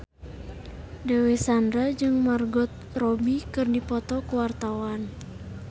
Dewi Sandra jeung Margot Robbie keur dipoto ku wartawan